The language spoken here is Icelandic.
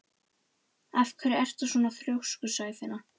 Af hverju ertu svona þrjóskur, Sæfinna?